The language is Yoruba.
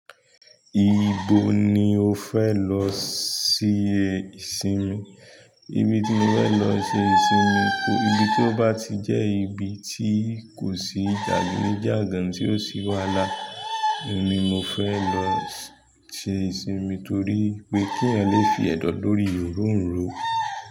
Ibo ni o fẹ lọ ṣe ìsinmi? Ibi ti mo fẹ lọ ṣe ìsinmi, ibi tí ó bá ti jẹ́ ibi tí kò sí jàgídíjàgan tí ó sí wàhálà, ni mo fẹ lọ ṣe ìsinmi torí wipé kí eeyan lè fi ẹ̀dọ̀ lórí orońro.